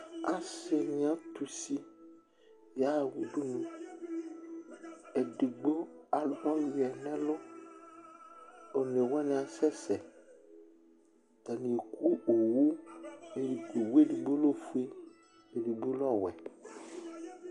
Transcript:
Asɩ ni atʋ usi yaɣa udunu Edigbo alʋ ɔyʋiɛ nʋ ɛlʋ, onewani asɛ sɛ Atani eku owʋ Owʋ edigbo lɛ ofue, edigbo lɛ ɔwɛ